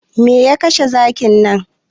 Me ya kashe zakin nan?